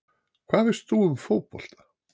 Hvað veist þú um fótbolta?